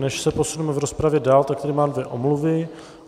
Než se posunu v rozpravě dál, tak tady mám dvě omluvy.